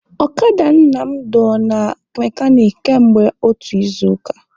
Ọkada Nna m dọ na mekanik kamgbe otu izuụka.